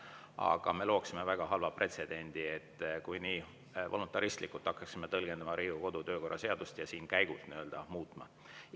Aga me looksime väga halva pretsedendi, kui nii voluntaristlikult hakkaksime tõlgendama Riigikogu kodu‑ ja töökorra seadust ja seda siin käigult muutma.